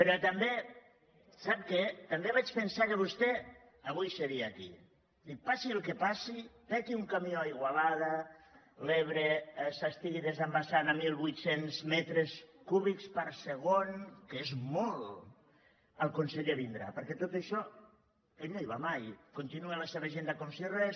però també sap què també vaig pesar que vostè avui seria aquí dic passi el que passi peti un camió a igualada l’ebre s’estigui desembassant a mil vuit cents metres cúbics per segon que és molt el conseller vindrà perquè a tot això ell no hi va mai continua la seva agenda com si res